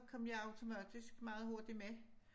Kom jeg automatisk meget hurtigt med